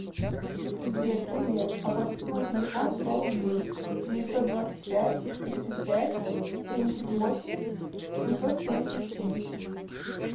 сбер привет оплатить мой телефон сто рублей девятьсот двадцать пять тридцать пять семьдесят восемь семьсот семьдесят семь